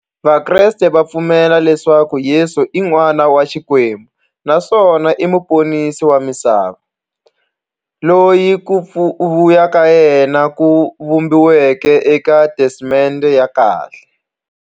Vakreste va pfumela leswaku Yesu i n'wana wa Xikwembu naswona i muponisi wa misava, loyi ku vuya ka yena ku vhumbiweke e ka Testamente ya khale.